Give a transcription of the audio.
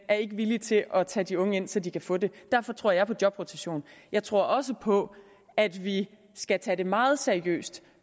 er ikke villige til at tage de unge ind så de kan få det derfor tror jeg på jobrotation jeg tror også på at vi skal tage det meget seriøst